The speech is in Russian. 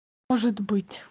может быть